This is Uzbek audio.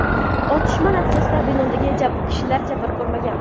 Otishma natijasida binodagi kishilar jabr ko‘rmagan.